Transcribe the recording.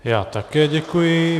Já také děkuji.